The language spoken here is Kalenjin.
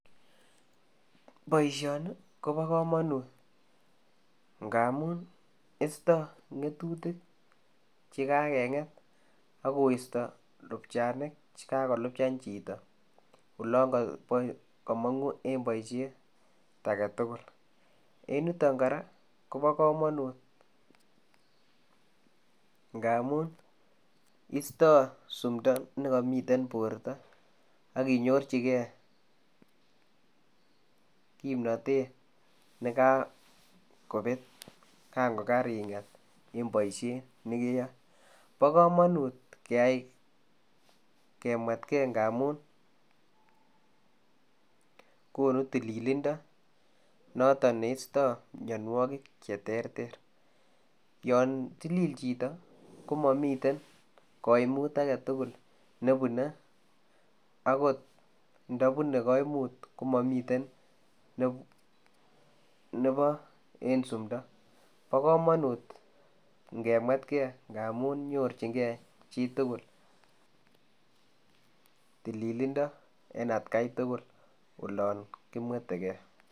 Boisioni ko bo kamanut ngamuun ii istaa ngetutik che kakenget agoistaa lupchanik chekakolupchaan chitoo olaan kamangu en boisiet age tugul en yutoon kora ko bo kamanut ngamuun insta simdaa nekamiten bortaa ak inyorjigei kipnatet nekaa kobeet kaan ko karingeet en boisiet nekeyae, bo kamanut keyai kemwetgsi ngamuun konuu tililindoo notoon neistaa mianwagik che teeter yaan tilil chitoo kamamii kaimuut age tugul nebune akoot nda bunei kaimuut komamii nebo en simdaa bo kamanut inge mwetgei ngamuun tililindaa en at gai tugul olaan kimwethegei.